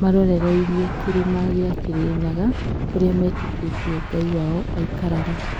marorereirie kĩrĩma gĩa Kĩrĩnyaga kũrĩa metĩkĩtie ngai wao aikaraga.